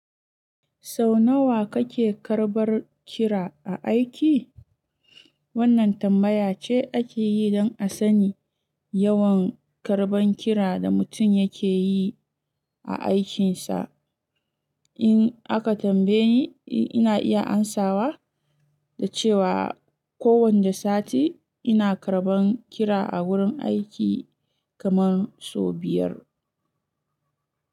Sau nawa kake karɓar kira a aiki? Wannan tambaya ce ake yi don a sani yawan karɓan kira da mutum yake yi a aikinsa. In aka tambaye ni, ina iya amsawa da cewa ko wanne sati ina karɓan kira a wurin aiki kamar sau biyar.